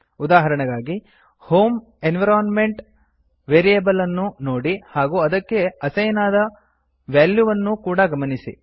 ಉದಾಹರಣೆಗಾಗಿ home environment variable ಅನ್ನು ನೋಡಿ ಹಾಗೂ ಅದಕ್ಕೆ ಅಸೈನ್ ಆದ ವ್ಯಾಲ್ಯೂ ವನ್ನೂ ಕೂಡಾ ಗಮನಿಸಿ